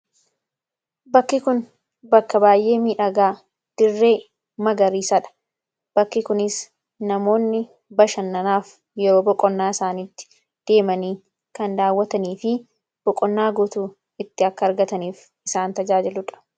bakki kun bakka baay'ee midhagaa dirree magariisaadha bakki kunis namoonni bashannanaaf yeroo boqonnaa isaanitti deemanii kan daawwatanii fi boqonnaa guutuu itti akka argataniif isaan tajaajiludha.